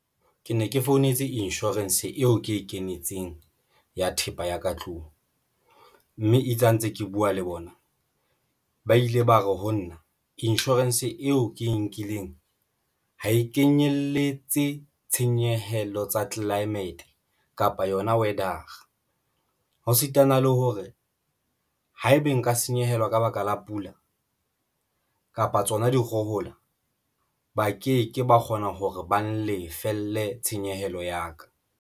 Ke ne ke founetse insurance eo ke e kenetseng ya thepa ya ka tlung mme itse ha ntse ke buwa le bona ba ile ba re ho na insurance eo ke e nkileng ha e kenyeletse tshenyehelo tsa climate kapa yona weather-a ho sitana le hore haebe nka senyehelwa ka baka la pula kapa tsona dikgohola, ba ke ke ba kgona hore ba lefelle tshenyehelo ya ka.